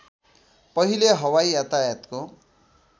पहिले हवाई यातायातको